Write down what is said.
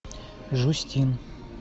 жюстин